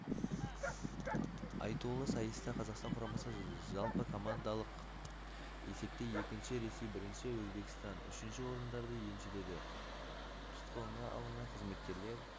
айтулы сайыста қазақстан құрамасы жалпыкомандалық есепте екінші ресей бірінші өзбекстан үшінші орындарды еншіледі тұтқынға алынған қызметкерлер